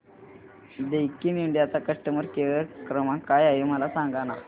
Daikin India चा customer care क्रमांक काय आहे मला सांगा